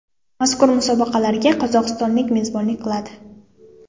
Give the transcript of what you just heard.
Mazkur musobaqalarga Qozog‘iston mezbonlik qiladi.